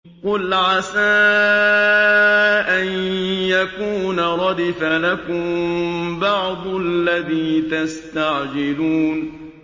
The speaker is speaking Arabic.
قُلْ عَسَىٰ أَن يَكُونَ رَدِفَ لَكُم بَعْضُ الَّذِي تَسْتَعْجِلُونَ